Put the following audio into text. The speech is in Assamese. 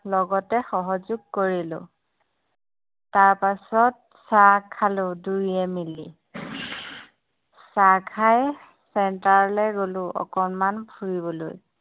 লগতে সহযোগ কৰিলোঁ তাৰ পাচত চাহ খালোঁ দুয়োয়ে মিলি চাহ খাই centre গ'লো অকণমাণ ফুৰিবলৈ